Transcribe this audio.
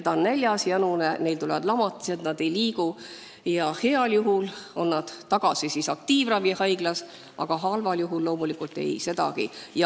Ta on näljas, janune, tal tekivad lamatised, ta ei liigu ja heal juhul on ta tagasi aktiivravihaiglas, aga halval juhul loomulikult ei sedagi.